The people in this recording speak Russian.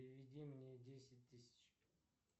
переведи мне десять тысяч